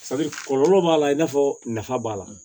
kɔlɔlɔ b'a la i n'a fɔ nafa b'a la